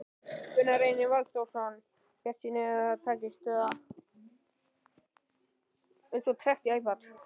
Gunnar Reynir Valþórsson: Bjartsýn á að það takist, eða?